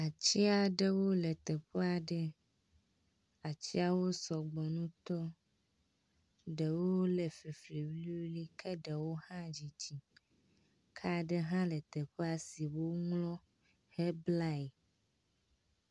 Atsi aɖewo le teƒea ɖe. Atsiwo sɔgbɔ ŋutɔ. Aɖewo le fifli wuliwuli ke ɖewo hã dzidzi. Ka ɖe hã teƒea si woŋlɔ hegblae.